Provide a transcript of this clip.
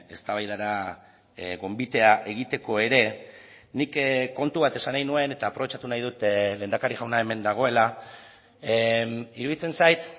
eztabaidara gonbitea egiteko ere nik kontu bat esan nahi nuen eta aprobetxatu nahi dut lehendakari jauna hemen dagoela iruditzen zait